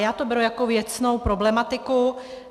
Já to beru jako věcnou problematiku.